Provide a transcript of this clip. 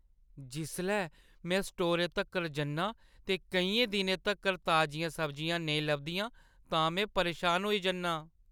जिसलै में स्टोरै तक्कर जन्नां ते केइयें दिनें तक्कर ताजियां सब्जियां नेईं लभदियां तां में परेशान होई जन्नां।